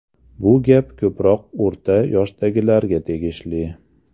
Bu gap ko‘proq o‘rta yoshdagilarga tegishli.